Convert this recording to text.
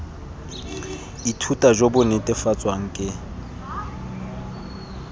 ithuta jo bo netefatswang ke